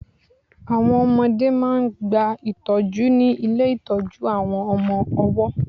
Àwọn ọmọdẹ́ máà ń gba ìtọ́jú ní ilé ìtọ́jú àwọn ọmọ ọwọ́.